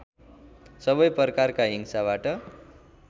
सबै प्रकारकका हिंसाबाट